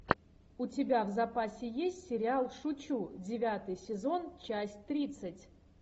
у тебя в запасе есть сериал шучу девятый сезон часть тридцать